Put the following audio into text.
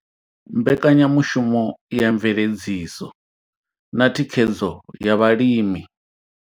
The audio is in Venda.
Mbekanyamushumo ya mveledziso na thikhedzo ya vhalimi.